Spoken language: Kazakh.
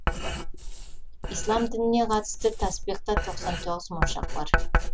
ислам дініне қатысты таспиқта тоқсан тоғыз моншақ бар